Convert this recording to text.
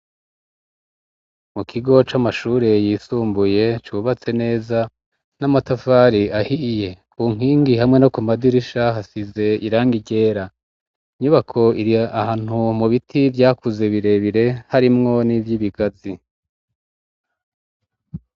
Mu kigo c'amashure yisumbuye cubatse neza n’amatafari ahiye ,ku nkingi hamwe no ku madirisha hasize irangi ryera, inyubako irahantu mu biti vyakuze birebire harimwo n'ivy'ibigazi.